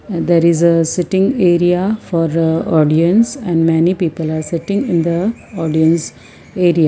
there is a sitting area for audience and many people are sitting in the audience area.